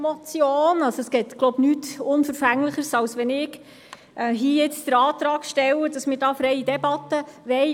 Es ist wohl nichts unverfänglicher, als wenn ich den Antrag auf freie Debatte stelle.